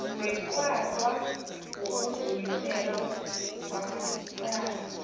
weqwaqwa wokudluliselwa kwamacala